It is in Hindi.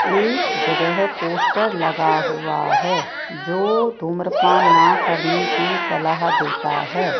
एक जगह पोस्टर लगा हुआ है जो धूम्रपान ना करने की सलाह देता है।